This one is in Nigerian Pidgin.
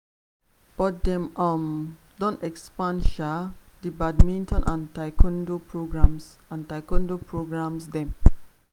but dem um don expand um di badminton and taekwondo programmes and taekwondo programmes dem.